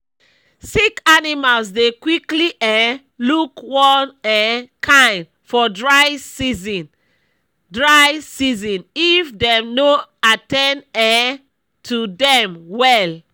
sick animals dey quickly um look one um kind for dry season dry season if dem no at ten d um to dem well